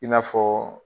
I n'a fɔ